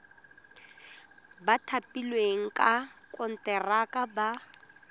ba thapilweng ka konteraka ba